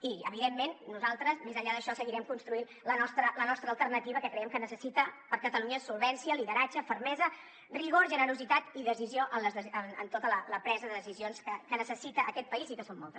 i evidentment nosaltres més enllà d’això seguirem construint la nostra alternativa que creiem que catalunya necessita solvència lideratge fermesa rigor generositat i decisió en la tota la presa de decisions que necessita aquest país i que són moltes